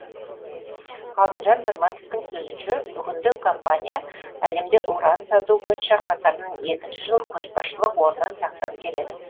ғалымжан пірматовтың сөзінше бүгінде компания әлемде уран сату бойынша қатарынан екінші жыл көшбасшылық орнын сақтап келеді